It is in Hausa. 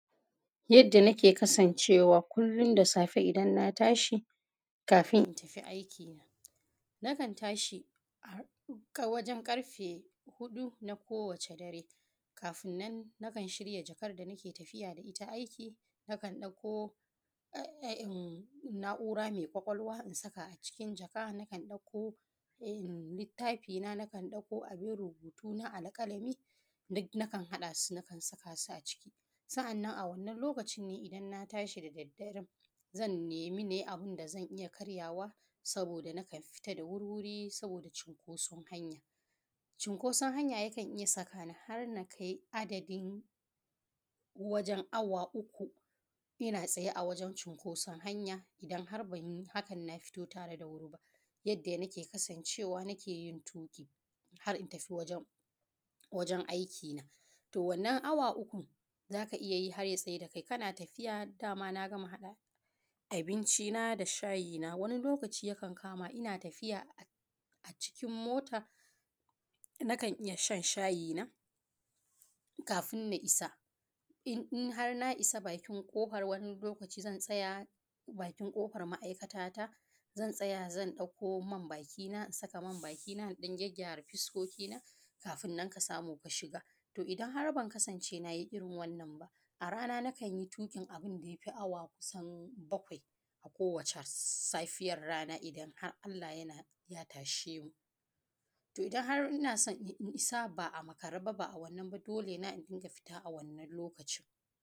Yadda nake kasancewa kullum da safe idan na tashi kafin in tafi aiki na na kan tashi a wajen ƙarfe huɗu na kowace dare kafin nan na kan shirya jakar da nake tafiya da ita aiki, na kan ɗauko na`ura mai ƙwaƙwalwa in saka a cikin jaka, na kan ɗauko littafi na, na kan ɗauko abin rubutuna na alƙalamin duk na kan saka su a ciki Sa`annan a wannan lokacin ne idan na tashi da daddaren zan in nemi abin da zan iya na karyawa saboda na kan fita da wurwuri saboda cinkoson hanya Cinkoson hanya yakan iya sakani har na kai adadin wajen awa uku ina tsaye wajen cinkoson hanya, idan har ban yi hakan na fito da wuri ba yanda na kan kasan cewa nake yin tuƙi har in tafi wajen aiki na To wannan awa ukun za ka iya yi har ya tsada da kai kana tafiya daman na gama haɗa abinci na da shayi na wani lokaci yakan kama ina tafiya a cikin mota nan a kan iya shan shayi na kafin na isa in har na isa bakin ƙofar ma`aikata ta zan tsaya zan ɗauka man baki na in saka man baki na in ɗan gyara fuskoki na kafin nan ka samu ka shiga to idan har ban kasance nayi irin wannan ba a ranan na kanyi tuƙin abin da yafi awa kusan bakwai a kowacel safiyar rana idan har Allah ya tashe mu. To idan har ina so in isa ba a makare ba a wannan ba dole na in dinga fita a wannan lokacin.